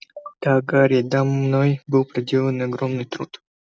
да гарри да мной был проделан огромный труд